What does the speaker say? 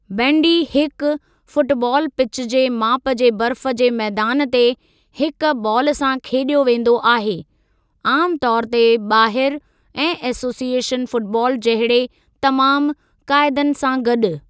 बेंडी हिक फुटबालु पिच जे माप जे बर्फ जे मैदान ते हिक बालु सां खेॾियो वेंदो आहे, आमु तौरु ते ॿाहिर, ऐं एसोसिएशन फुटबालु जहिड़े तमामु क़ाइदनि सां गॾु।